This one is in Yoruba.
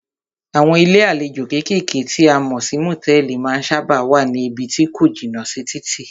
Àwọn ilé àlejò kékèké tí a mọ̀ sí motẹ̀ẹ̀li má ń sábáà wá ní ibí tí ko jìnà sí títì.